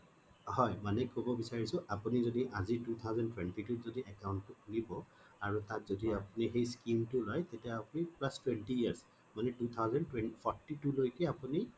হয় মানে কব বিচাৰো আপুনি আজি two thousand twenty two ত যদি account টো খুলিব আৰু তাত যদি আপুনি এই scheme টো লয় তেতিয়া আপুনি plus twenty years মানে two thousand forty two লৈকে আপুনি